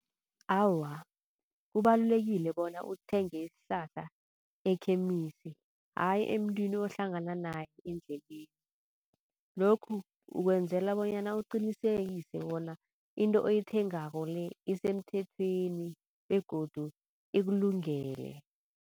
Awa, kubalulekile bona uthenge isihlahla e-chemist ayi emntwini ohlangana naye endleleni. Lokhu ukwenzela bonyana uqinisekise bona into oyithengako le isemthethweni begodu ikulungele.